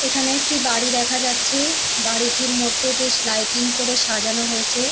এখানে একটি বাড়ি দেখা যাচ্ছে বাড়িটির মধ্যে বেশ লাইটিং করে সাজানো হয়েছে ।